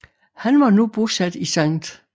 Han var nu bosat i St